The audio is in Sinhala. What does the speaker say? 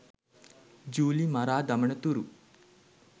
ජුලි මරා දමන තුරු.